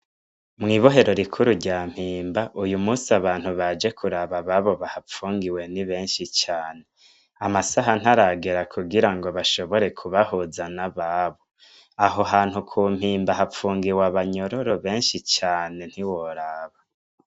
Mw'irohero rikuru rya mpimba ,uyumusi abantu baje kuraba ababo bahafungiwe ni benshi cane, amasaha ntaragera kugirango bashobore kubahuza n'ababo, aho hantu kumpimba hapfungiwe abanyororo benshi cane ntiworaba.